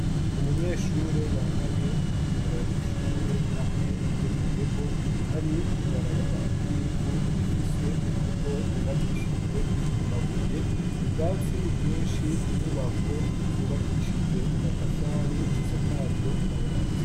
umunyeshure yambaye umwambaro w'ishure hamwe n'iyeboyebo ari mwibarabara ry'ivu rifise umubvo wubakishijwe amabuye ubwasi bwinshi inyubako zubakishijwe amatafari zisakajwe amabati